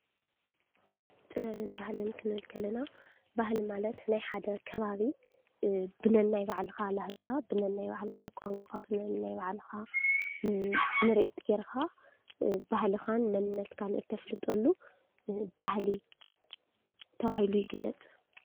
ጥበብን ባህሊን ክንብል ከለና ባህሊ ማለት ናይ ሓደ ከባቢ ብነናይ ባዕልካ ላህጃ፣ ብናይ ባዕልካ ቋንቃ፣ ብናይ ባዕልካ ፣ምርኢት ገይርካ ባህልካን መንነትካን፣ እትፍልጠሉ ባህሊ ተባሂሉ ይግለፅ፡፡